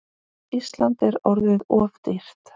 Ísland er orðið of dýrt.